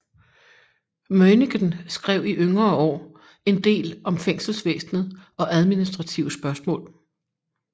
Møinichen skrev i yngre år endel om fængselsvæsenet og administrative spørgsmål